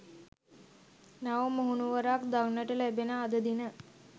නව මුහුණුවරක් දක්නට ලැබෙන අද දින